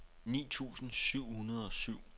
ni tusind syv hundrede og syv